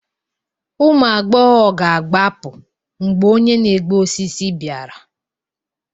Ụmụ agbọghọ ga-agbapụ mgbe onye na-egbu osisi bịara